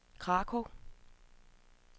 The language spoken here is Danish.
Krakow